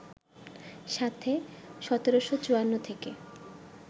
সাথে ১৭৫৪ থেকে